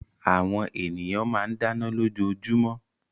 Àwọn ènìyàn máa ń dáná lójoojúmọ́